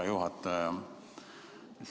Hea juhataja!